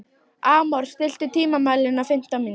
Amor, stilltu tímamælinn á fimmtán mínútur.